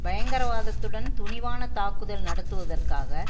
பயங்கரவாதத்துடன் துணிவான தாக்குதல் நடத்துவதற்காக